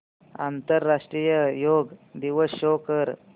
आंतरराष्ट्रीय योग दिवस शो कर